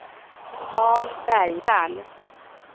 Karl Bergvall